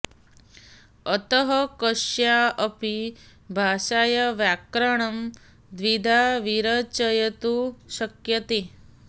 अतः कस्या अपि भाषाया व्याकरणं द्विधा विरचयितुं शक्यते